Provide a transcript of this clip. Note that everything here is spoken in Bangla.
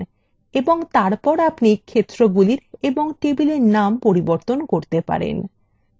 এবং তারপর আপনি ক্ষেত্রগুলির এবং tableএর name পরিবর্তন করতে পারেন